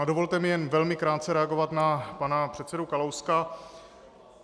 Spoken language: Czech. A dovolte mi jen velmi krátce reagovat na pana předsedu Kalouska.